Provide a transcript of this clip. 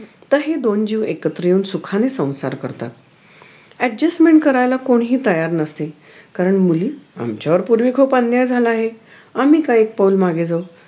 तर हे दोन जीव एकत्र येऊन सुखाने संसार करतात adjustment करायला कोणीही तयार नसे कारण मुली आमच्यावर पूर्वी फार अन्याय झाला आहे आम्ही का एक पाऊल मागे जाउ